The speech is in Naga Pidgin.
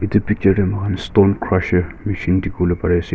etu picture de mukan stone crusher machine dikivolae pari ase.